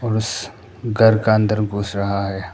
घर का अंदर घुस रहा है।